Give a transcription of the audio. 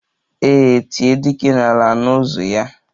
E tie dike n'ala, anụ ụzụ ya